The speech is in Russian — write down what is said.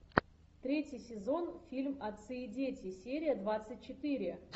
третий сезон фильм отцы и дети серия двадцать четыре